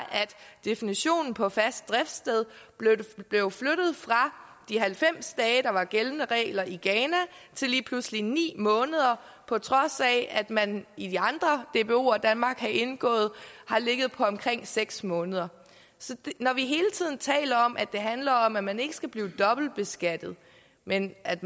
definitionen på fast driftssted blev flyttet fra de halvfems dage der var gældende regler i ghana til lige pludselig ni måneder på trods af at man i de andre dboer danmark har indgået har ligget på omkring seks måneder når vi hele tiden taler om at det handler om at man ikke skal blive dobbeltbeskattet men at